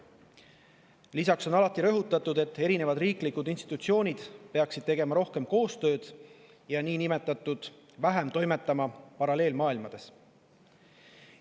Lisaks on alati rõhutatud, et erinevad riiklikud institutsioonid peaksid tegema rohkem koostööd ja toimetama vähem niinimetatud paralleelmaailmades.